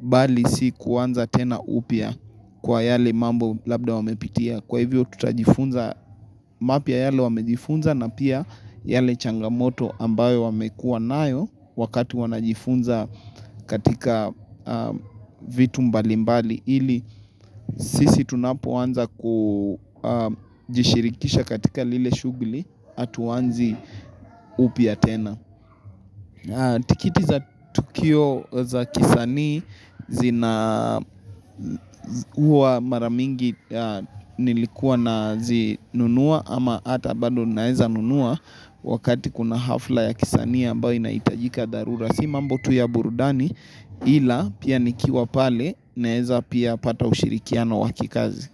bali si kuanza tena upya kwa yale mambo labda wamepitia kwa hivyo tutajifunza mapya yale wamejifunza na pia yale changamoto ambayo wamekua nayo wakati wanajifunza katika vitu mbali mbali ili sisi tunapoanza kujishirikisha katika lile shughuli hatuanzi upya tena tikiti za tukio za kisanii zina huwa mara mingi nilikuwa nazinunua ama hata bado naweza nunua wakati kuna hafla ya kisanii ambayo inahitajika dharura. Si mambo tu ya burudani ila pia nikiwa pale naweza pia pata ushirikiona wa kikazi.